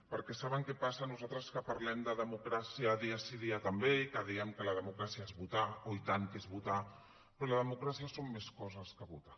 perquè saben què passa nosaltres que parlem de democràcia dia sí dia també i que diem que la democràcia és votar oh i tant que és votar però la democràcia són més coses que votar